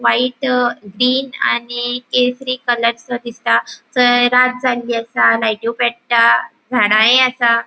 White green आनी केसरी कलरसो दिसता थंय सा रात जाल्लि आसा लाइटयोय पेट्टा झाडाय असा.